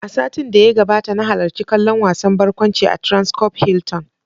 A satin da ya gabata, na halarci kallon wasan barkwanci a "Transcorp Hilton".